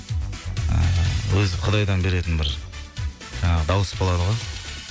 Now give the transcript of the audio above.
ыыы өзі құдайдан беретін бір ыыы дауыс болады ғой